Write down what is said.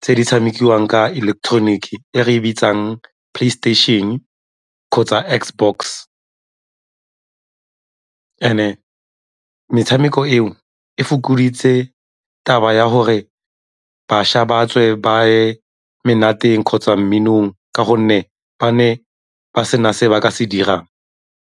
tse di tshamekiwang ka electronic-ke e re e bitsang PlayStation kgotsa Xbox. And-e metshameko eo e fokoditse taba ya gore bašwa ba tswe ba ye monateng kgotsa mminong ka gonne ba ne ba sena se ba ka se dirang.